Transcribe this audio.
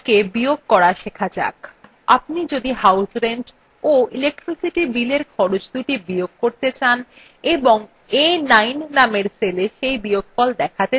আপনি যদি house rent of electricity billএর খরচদুটি বিয়োগ করতে চান এবং a9 নামের cell cell বিয়োগফল দেখাতে চান তাহলে প্রথমে a9 cell click করুন